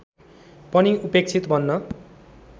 पनि उपेक्षित बन्न